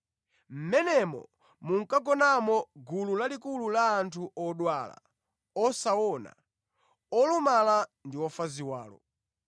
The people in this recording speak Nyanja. Mʼmenemo munkagonamo gulu lalikulu la anthu odwala, osaona, olumala ndi ofa ziwalo.